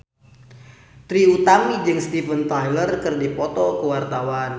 Trie Utami jeung Steven Tyler keur dipoto ku wartawan